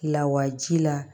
Lawaji la